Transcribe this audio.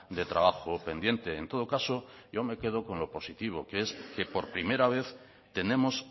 de trabajo pendiente en todo caso yo me quedo con lo positivo que es que por primera vez tenemos